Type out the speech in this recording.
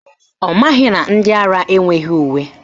Ọ maghị na ndị ara enweghị uwe